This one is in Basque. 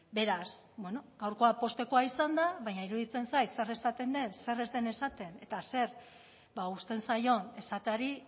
beraz bueno gaurkoa poztekoa izan da baina iruditzen zait zer esaten den zer ez den esaten eta zer uzten zaion esateari